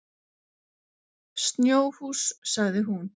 Snjóhús, sagði hún.